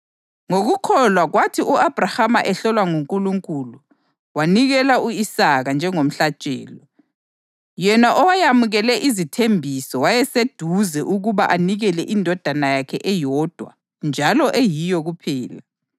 Ngokukholwa, kwathi u-Abhrahama ehlolwa nguNkulunkulu, wanikela u-Isaka njengomhlatshelo. Yena owayamukele izithembiso wayeseseduze ukuba anikele indodana yakhe eyodwa njalo eyiyo kuphela,